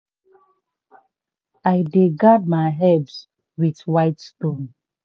i dey guard my herbs with white stone.